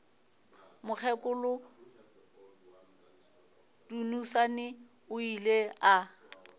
mokgekolo dunusani o ile a